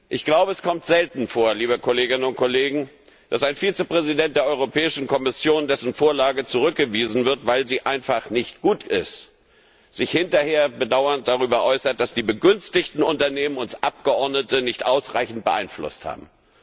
Ich glaube, es kommt selten vor, liebe Kolleginnen und Kollegen, dass ein Vizepräsident der Kommission, dessen Vorlage zurückgewiesen wird, weil sie einfach nicht gut ist, sich hinterher bedauernd darüber äußert, dass die begünstigten Unternehmen uns Abgeordnete nicht ausreichend beeinflusst haben.